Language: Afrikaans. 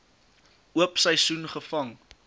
oop seisoen gevang